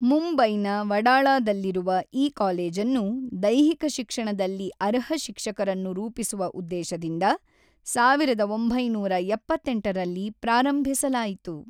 ಮುಂಬೈನ ವಡಾಳಾದಲ್ಲಿರುವ ಈ ಕಾಲೇಜನ್ನು ದೈಹಿಕ ಶಿಕ್ಷಣದಲ್ಲಿ ಅರ್ಹ ಶಿಕ್ಷಕರನ್ನು ರೂಪಿಸುವ ಉದ್ದೇಶದಿಂದ ಸಾವಿರದ ಒಂಬೈನೂರ ಎಪ್ಪತ್ತೆಂಟರಲ್ಲಿ ಪ್ರಾರಂಭಿಸಲಾಯಿತು.